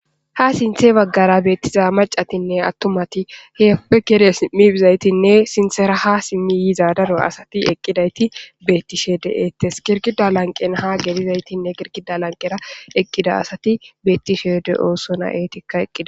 Haa sinththe bagaara beetiza maccatinne attumati heeppe ke'idi simmi bizaytiinne sinthera haa simmi yiza daro asati eqqidayti beetishe de'etees girgida lanqen haa gelizaytinne girgida lanqera eqqida asati beetishe de'osonna eetika eqqida.